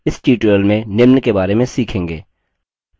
इस tutorial में निम्न के बारे में सीखेंगे